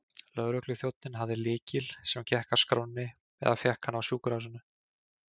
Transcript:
Lögregluþjónninn hafði lykil, sem gekk að skránni, eða fékk hann á sjúkrahúsinu.